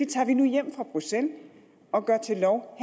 tager vi nu hjem fra bruxelles og gør til lov